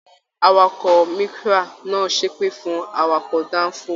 Àwàkọ̀ Micra náà ṣepe fún awakọ̀ danfo.